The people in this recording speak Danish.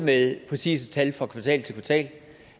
med præcise tal for kvartal til kvartal